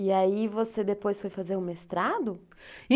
E aí você depois foi fazer o mestrado?